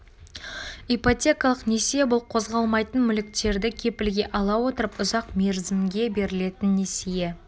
ипотекалық несие бұл қозғалмайтын мүліктерді кепілге ала отырып ұзақ мерзімге берілетін несие